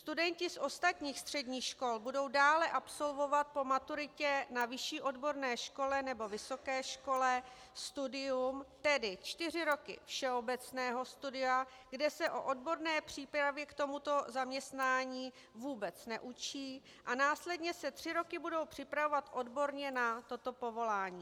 Studenti z ostatních středních škol budou dále absolvovat po maturitě na vyšší odborné škole nebo vysoké škole studium, tedy čtyři roky všeobecného studia, kde se o odborné přípravě k tomuto zaměstnání vůbec neučí, a následně se tři roky budou připravovat odborně na toto povolání.